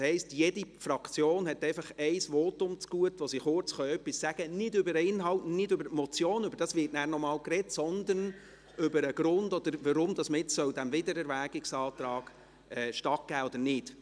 Das heisst, jede Fraktion hat einfach ein Votum zugute, in dem sie kurz etwas sagen kann: nicht über den Inhalt, nicht über die Motion , darüber wird danach noch einmal gesprochen werden, sondern über den Grund oder weshalb man jetzt diesem Wiedererwägungsantrag stattgeben soll oder nicht.